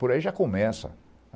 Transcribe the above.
Por aí já começa.